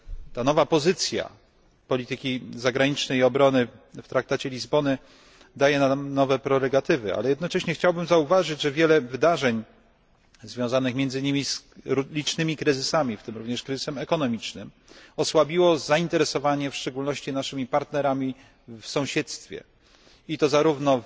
Ta nowa pozycja polityki zagranicznej i obrony w Traktacie z Lizbony daje nam nowe prerogatywy, ale jednocześnie chciałbym zauważyć, że wiele wydarzeń związanych między innymi z licznymi kryzysami, w tym również kryzysem ekonomicznym, osłabiło zainteresowanie w szczególności naszymi partnerami w sąsiedztwie, i to zarówno